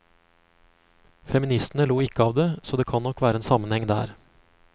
Feministene lo ikke av det, så det kan nok være en sammenheng der.